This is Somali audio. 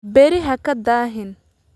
Berri haka daahin